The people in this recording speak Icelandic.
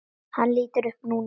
Hann lítur upp núna.